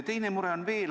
Teine mure on veel.